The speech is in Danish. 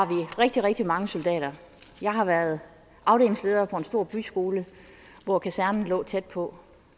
rigtig rigtig mange soldater jeg har været afdelingsleder for en stor byskole hvor kasernen lå tæt på